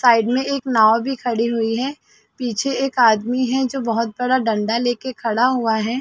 Side में एक नाव भी खड़ी हुई है पीछे एक आदमी है जो बहोत बड़ा डंडा लेके खड़ा हुआ है ।